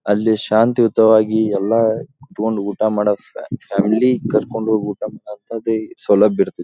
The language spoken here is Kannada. ಅಲ್ಲಿ ಶಾಂತಿಯುತವಾಗಿ ಎಲ್ಲ ಕೂತ್ಕೊಂಡು ಊಟ ಮಾಡಕ್ಕ ಫ್ಯಾಮಿಲಿ ಕರ್ಕೊಂಡು ಹೋಗಿ ಊಟ ಮಾಡೋ ಅಂಥದ್ದು ಸೌಲಭ್ಯ ಇರ್ತೈತಿ.